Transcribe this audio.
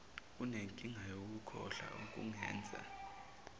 unenkinga yokukhohlwa okungenza